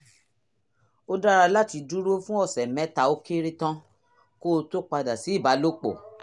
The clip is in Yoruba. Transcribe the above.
ó dára láti dúró fún ọ̀sẹ̀ mẹ́ta ó kéré tán kó o tó padà sí ìbálòpọ̀